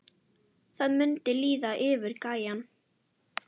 Það mundi líða yfir gæjann!